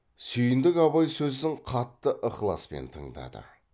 сүйіндік абай сөзін қатты ықыласпен тыңдады